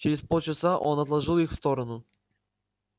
через полчаса он отложил их в сторону